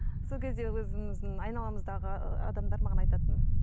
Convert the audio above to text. сол кезде өзіміздің айналамыздағы ы адамдар маған айтатын